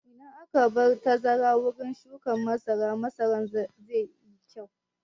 Idan an bar tazara wurin shuƙin masara, masaran zai yi kyau.